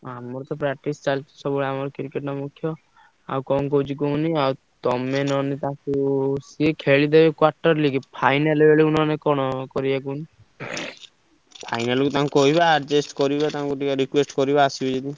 ଆମର ତ practice ଚାଲିଛି ସବୁବେଳେ ଆମର cricket ଟା ମୁଖ୍ୟ ଆଉ କଣ କହୁଛି କୁହନି ଆଉ ତମେ ନହେଲେ ତାଙ୍କୁ ସିଏ ଖେଳିଦେବେ quarter league final ବେଳେ କଣ କରିବ କୁହନି final କୁ ତାଙ୍କୁ କହିବା adjust କରିବ ତାଙ୍କୁ ଟିକେ request କରିବ ଆସିବେ ଯଦି।